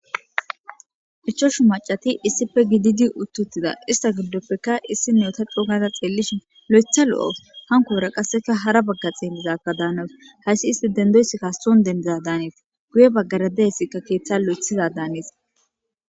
ichoshu macati issipe gididi uttuttida ista giddoppeka issi neeta cougaza xeellishin lo7etha lo7of hankoera qasseka hara bagga xeemmizakka daanawus hayssi isti dendoyssi kasson dendiza daanees guye baggarade yssikka keeththa lo7ethiza daanees